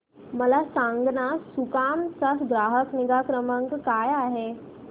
मला सांगाना सुकाम चा ग्राहक निगा क्रमांक काय आहे